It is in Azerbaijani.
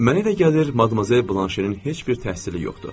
Mənə elə gəlir, Madmazel Blanşenin heç bir təhsili yoxdur.